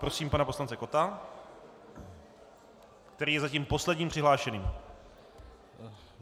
Prosím pana poslance Kotta, který je zatím posledním přihlášeným.